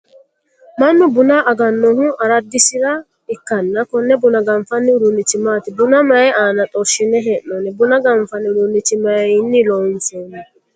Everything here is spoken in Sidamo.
Mannu bunna aganohu aradisira ikanna konne bunna ganfanni uduunichi maati? Bunna mayi aanna xorshine hee'noonni? Bunna ganfanni uduunicho mayinni loonsoonni?